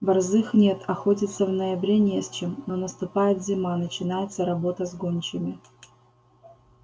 борзых нет охотиться в ноябре не с чем но наступает зима начинается работа с гончими